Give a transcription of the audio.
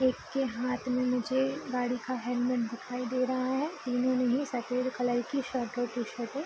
एक के हाथ में मुझे गाड़ी का हेलमेट दिखाई दे रहा है तीनों ने ही सफ़ेद कलर की शर्ट और टी-शर्ट ऐ --